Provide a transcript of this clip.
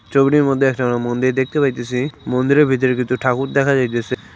ছবিটির মধ্যে একটা মন্দির দেখতে পাইতেসি মন্দিরের ভিতর দুটো ঠাকুর দেখা যাইতেসে।